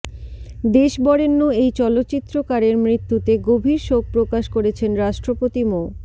দেশবরেণ্য এই চলচ্চিত্রকারের মৃত্যুতে গভীর শোক প্রকাশ করেছেন রাষ্ট্রপতি মো